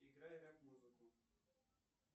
играй рэп музыку